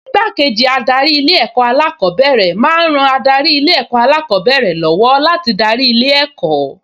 Igbákejì adarí Ilé-ẹ̀kọ́ alákọ̀ọ́bẹ̀rẹ̀ máa ń ran adarí Ilé-ẹ̀kọ́ alákọ̀ọ́bẹ̀rẹ̀ lọ́wọ́ láti darí ilé ẹ̀kọ́